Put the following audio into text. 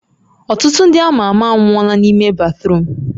Ọtụtụ ndị ama ama anwụọla n'ime batruum